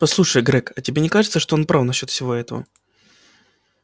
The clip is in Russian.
послушай грег а тебе не кажется что он прав насчёт всего этого